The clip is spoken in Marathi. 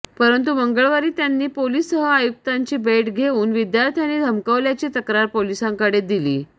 परंतु मंगळवारी त्यांनी पोलीस सहआयुक्तांची भेट घेऊन विद्यार्थ्यांनी धमकावल्याची तक्रार पोलिसांकडे दिली